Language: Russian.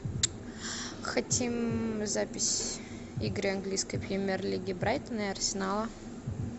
хотим запись игры английской премьер лиги брайтона и арсенала